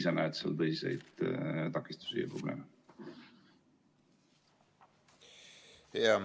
Või sa näed seal tõsiseid takistusi ja probleeme?